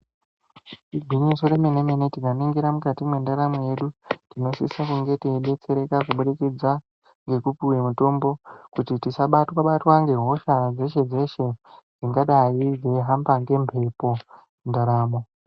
Igwinyiso remenemene tikaningira mukati mwendaramo yedu tinosisa kunge teibstsereka kubudikidzwa ngukupiwe mitombo kuti tisabatwa batwa nehosha yeshe yeshe ingadai yeihamba ngemhepo mundaramo.